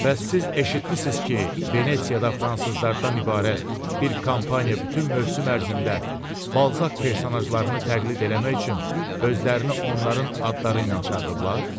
Bəs siz eşitmisiniz ki, Venesiyada fransızlardan ibarət bir kampaniya bütün mövsüm ərzində balzaq personajlarını təqlid eləmək üçün özlərini onların adları ilə çağırıblar?